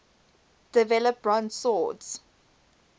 develop bronze swords